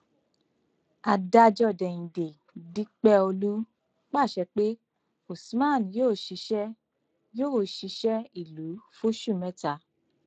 adájọ déhìndé dípẹọlù pàṣẹ pé usman yóò ṣiṣẹ yóò ṣiṣẹ ìlú fóṣù mẹta